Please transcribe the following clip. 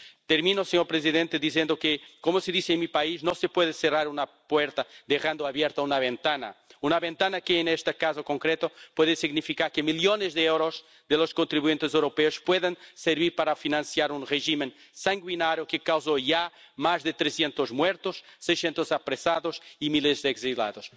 Termino, señor presidente, diciendo que —como se dice en mi país— no se puede cerrar una puerta dejando abierta una ventana, una ventana que, en este caso concreto, puede significar que millones de euros de los contribuyentes europeos puedan servir para financiar un régimen sanguinario que ha causado ya más de 300 muertos, 600 apresados y miles de exiliados.